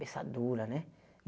dura, né?